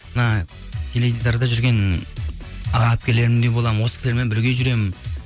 мына теледидарда жүрген аға әпкелерімдей боламын осы кісілермен бірге жүремін